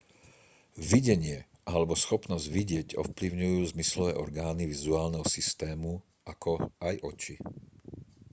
videnie alebo schopnosť vidieť ovplyvňujú zmyslové orgány vizuálneho systému ako aj oči